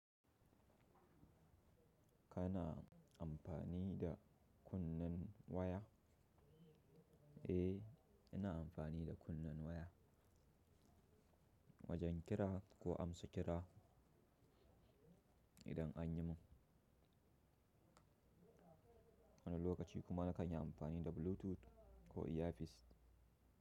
Kana amfani da kunnen waya? Eh, ina amfani da kunnen waya wajen kira ko amsa kira idan anyi mun. Wani lokaci kuma na kanyi amfani da Bluetooth ko ear piece.